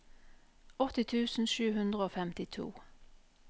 åtti tusen sju hundre og femtito